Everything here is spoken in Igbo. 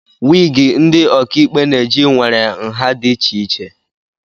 Wịgị ndị ọkàikpe na-eji nwere nha dị iche iche